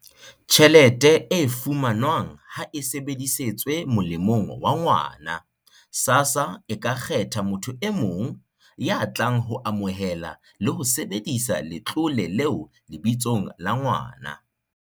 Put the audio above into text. "tjhelete e fumanwang ha e sebedisetswe molemong wa ngwana, SASSA e ka kgetha motho e mong ya tlang ho amohela le ho sebedisa letlole leo lebitsong la ngwana."